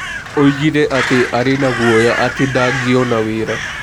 Oigire atĩ arĩ na guoya atĩ ndangĩona wĩra.